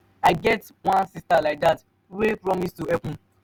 i get wan sister like dat wey promise to help me.